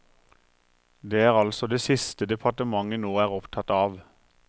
Det er altså det siste departementet nå er opptatt av.